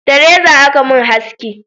Da reza a Ka mun haski